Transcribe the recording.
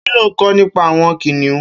Kiló n kọ̀ nipà awọn kiniùn?